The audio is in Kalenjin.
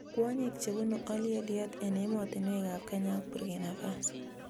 Kwonyik chebunu oleyetyet eng emotinwekab Kenya ak Burkina Faso